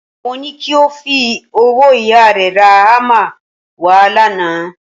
Mo ní kí o fowó ìyá rẹ ra hámà wà lánàá